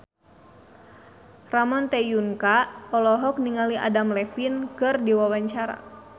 Ramon T. Yungka olohok ningali Adam Levine keur diwawancara